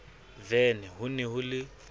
vene ho ne ho le